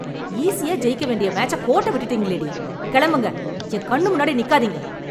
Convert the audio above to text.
ஈசியா ஜெயிக்க வேண்டிய மேட்ச கோட்டை விட்டுட்டீங்களே டி. கெளம்புங்க. என் கண்ணு முன்னாடி நீக்காதீங்க.